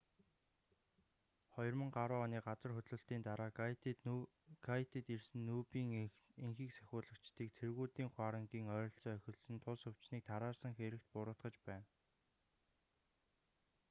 2010 оны газар хөдлөлтийн дараа гайтид ирсэн нүб-ын энхийг сахиулагчдыг цэргүүдийн хуарангийн ойролцоо эхэлсэн тус өвчнийг тараасан хэрэгт буруутгаж байна